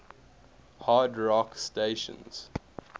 hard rock stations